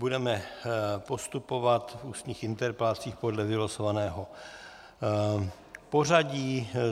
Budeme postupovat v ústních interpelacích podle vylosovaného pořadí.